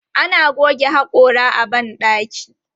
Ana goge haƙora a ban ɗaki.